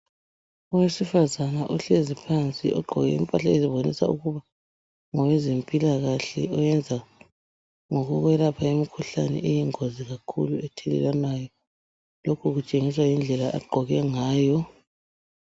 Owesifazana ohlezi phansi ogqoke impahla ezibonisa ukuba ngowezempilakahle oyenza ngokuyelapha imikhuhlane eyingozi kakhulu ethelelwanayo. Lokhu kutshengisa indlela agqoke ngayo.